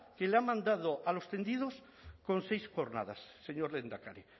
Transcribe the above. que le ha mandado a los tendidos con seis cornadas señor lehendakari